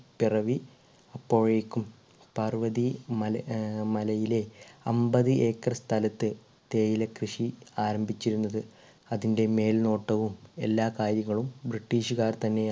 പിറവി അപ്പോഴേക്കും പാർവതി മല അഹ് മലയിലെ അമ്പത് ഏക്കർ സ്ഥലത്ത് തേയില കൃഷി ആരംഭിച്ചിരുന്നത് അതിൻ്റെ മേൽനോട്ടവും എല്ലാ കാര്യങ്ങളും british കാർ തന്നേ